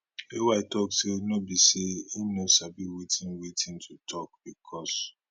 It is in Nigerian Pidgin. ay tok say no be say im no sabi wetin wetin to tok becos